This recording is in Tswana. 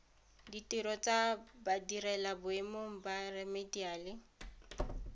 ditiro tsa badirelaboemong ba remediale